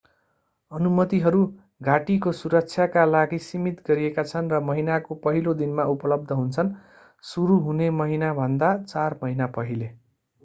अनुमतिहरू घाटीको सुरक्षाका लागि सीमित गरिएका छन् र महिनाको पहिलो दिनमा उपलब्ध हुन्छन् सुरु हुने महिनाभन्दा चार महिना पहिले